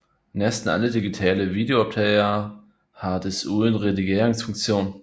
Næsten alle digitale videooptagere har desuden redigeringsfunktion